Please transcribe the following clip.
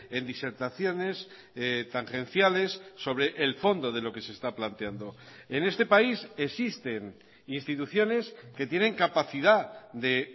en disertaciones tangenciales sobre el fondo de lo que se está planteando en este país existen instituciones que tienen capacidad de